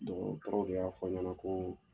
Dɔgɔtɔrɔ dɔ y'a fɔ n ɲɛna ko